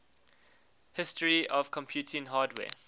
history of computing hardware